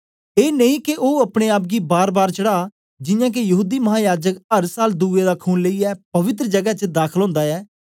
ऐ नेई के ओ अपने आप गी बारबार चढ़ा जियां के यहूदी महायाजक अर साल दुए दा खून लेईयै पवित्र जगै च दाखल ओंदा ऐ